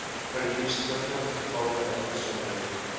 verdienstelike gevalle uitgesonderd